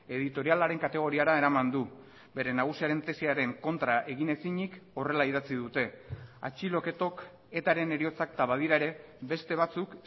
editorialaren kategoriara eraman du bere nagusiaren tesiaren kontra egin ezinik horrela idatzi dute atxiloketok eta ren heriotzak eta badira ere beste batzuk